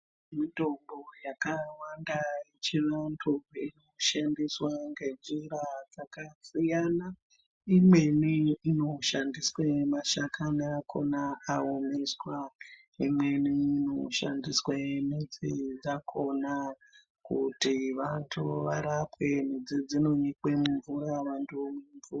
Mitombo yakawanda yechiyungu inoshandiswa ngenjira dzakasiyana. Imweni inoshandiswe mashakani akhona aomeswa , imweni inoshandiswe midzi dzakhona kuti vantu varapwe. Midzi dzinonyikwe mumvura vantu vomwa.